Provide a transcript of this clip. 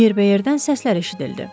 Yerbəyerdən səslər eşidildi.